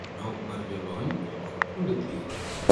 Nok mar jolony to kod kuonde thieth